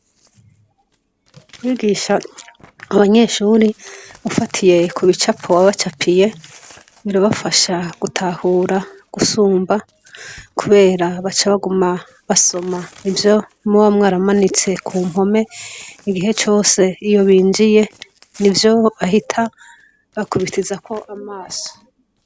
Kwigisha abanyeshuri ufatiye ku bicapo wabacapiye birabafasha gutahura gusumba, kubera baca baguma basoma ivyo mubamwe aramanitse ku mpome igihe cose iyo binjiye ni vyo bahita bakubitizako amaso.